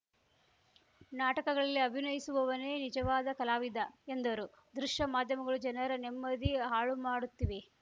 ನಾಟಕಗಳಲ್ಲಿ ಅಭಿನಯಿಸುವವನೇ ನಿಜವಾದ ಕಲಾವಿದ ಎಂದರು ದೃಶ್ಯ ಮಾಧ್ಯಮಗಳು ಜನರ ನೆಮ್ಮದಿ ಹಾಳು ಮಾಡುತ್ತಿವೆ